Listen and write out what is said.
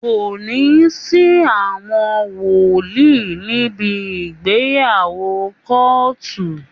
Kò ní sí àwọn wòlíì níbi ìgbeyàwó kóòtù